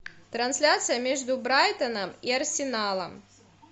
трансляция между брайтоном и арсеналом